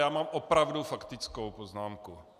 Já mám opravdu faktickou poznámku.